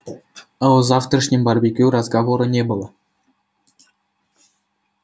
а о завтрашнем барбекю разговора не было